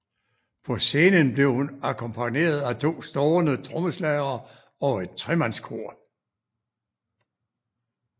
På scenen blev hun akkompagneret at to stående trommeslagere og et tremandskor